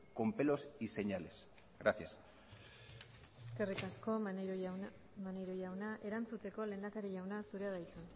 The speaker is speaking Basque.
con pelos y señales gracias eskerrik asko maneiro jauna erantzuteko lehendakari jauna zurea da hitza